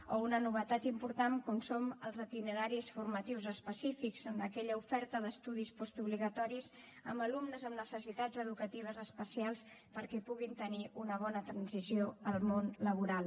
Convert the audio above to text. o una novetat important com són els itineraris formatius específics en aquella oferta d’estudis postobligatoris amb alumnes amb necessitats educatives especials perquè puguin tenir una bona transició al món laboral